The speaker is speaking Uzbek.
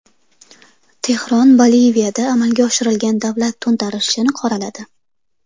Tehron Boliviyada amalga oshirilgan davlat to‘ntarishini qoraladi.